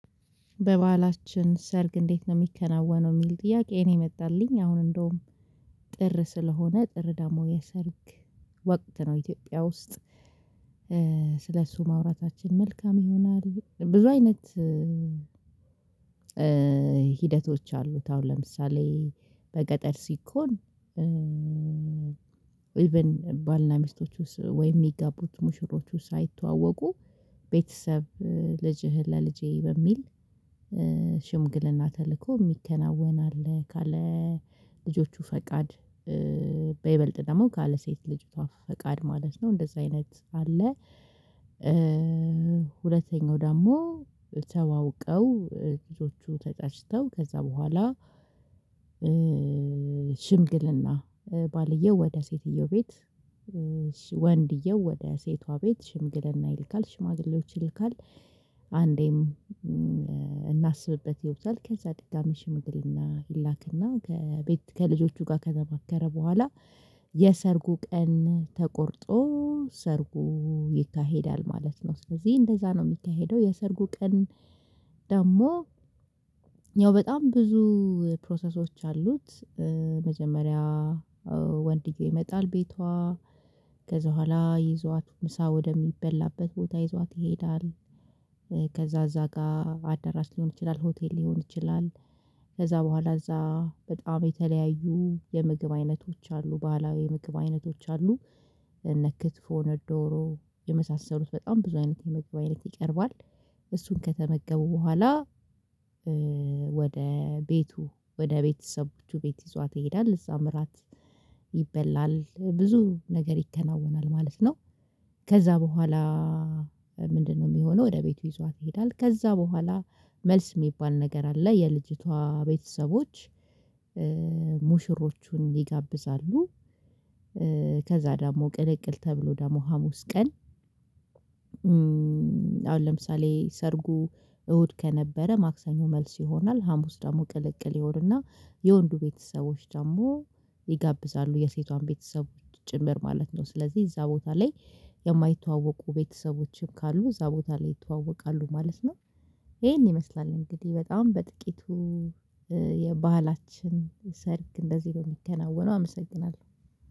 በበአላችን ሰርግ እንዴት ነው የሚከናወነው? የሚል ጥያቄ እኔ የመጣልኝ አሁን እንደውም ጥር ስለሆነ ጥር ደግሞ የሰርግ ወቅት ነው ኢትዮጵያ ውስጥ ስለእሱ ማውራታችን መልካም ይሆናል። ብዙ አይነት ሂደቶች አሉት። አሁን ለምሳሌ በገጠር ሲኮን ኢቭን ባልና ሚስቶቹስ ወይም የሚገቡት ሙሽሮቹ ሳይተዋወቁ ቤተሰብ ልጅህን ለልጄ በሚል ተልእኮ የሚከናወን አለ። ካለ ልጆቹ ፈቃድ በይበልጥ ደግሞ ካለ ሴት ልጅቷ ፈቃድ ማለት ነው እንደዛ አይነት አለ። ሁለተኛው ደግሞ ተዋውቀው ልጆቹ ተጫጭተው ከዛ በኋላ ሽምግልና ባልየው ወደ ሴትየው ቤት ወንድየው ወደ ሴቷ ቤት ሽምግለና ይልካል ሽማግሌዎች ይልካል። አንዴም እናስብበት ይሉታል ከዛ ደጋሚ ሽምግልና ይላክና ከቤት ከልጆቹ ጋር ከተባከረ በኋላ የሰርጉ ቀን ተቆርጦ ሰርጉ ይካሄዳል ማለት ነው። ስለዚህ እንደዛ ነው የሚካሄደው። የሰርጉ ቀን ደግሞ ያው በጣም ብዙ ፕሮሰሶች አሉት። መጀመሪያ ወንድየው ይመጣል ቤቷ ከዛ በኋላ ይዟት ምሳ ወደሚበላበት ቦታ ይዟት ይሄዳል። ከዛ እዛ ጋር አደራሽ ሊሆን ይችላል ሆቴል ሊሆን ይችላል። ከዛ በኋላ እዛ በጣም የተለያዩ የምግብ አይነቶች አሉ ባህላዊ ምግብ አይነቶች አሉ። እነ ክትፎ እነ ዶሮ የመሳሰሉት በጣም ብዙ አይነት የምግብ አይነት ይቀርባል። እሱን ከተመገቡ በኋላ ወደ ቤቱ ወደ ቤተሰቦቹ ቤት ይዟት ይሄዳል እዛም እራት ይበላል ብዙ ነገር ይከናወናል ማለት ነው። ከዛ በኋላ ምንድነው? የሚሆነው ወደ ቤቱ ይዟት ይሄዳል ከዛ በኋላ መልስ የሚባል ነገር አለ የልጅቷ ቤተሰቦች ሙሽሮቹን ይጋብዛሉ። ከዛ ደግሞ ቅልቅል ተብሎ ደግሞ ሀሙስ ቀን አሁን ለምሳሌ ሰርጉ እሁድ ከነበረ ማክሰኞ መልስ ይሆናል። ሀሙስ ደግሞ ቅልቅል ይሆንና የወንዱ ቤተሰቦች ደግሞ ይጋብዛሉ የሴቷን ቤተሰቦች ጭምር ማለት ነው። ስለዚህ እዛ ቦታ ላይ የማይተዋወቁ ቤተሰቦችም ካሉ እዛ ቦታ ላይ ይተዋወቃሉ ማለት ነው። ይሄን ይመስላል እንግዲህ በጣም በጥቂቱ የባህላችን ሰርግ እንደዚህ ነው የሚከናወነው። አመሰግናለሁ